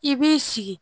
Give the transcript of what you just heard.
I b'i sigi